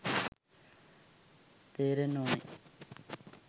තේරෙන්න ඕන.